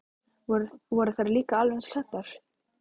Voru þær líka alveg eins klæddar?